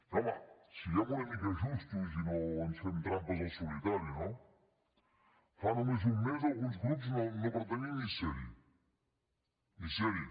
home siguem una mica justos i no ens fem trampes al solitari no fa només un mes alguns grups no pretenien ni ser hi ni ser hi